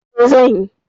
E, zan yi.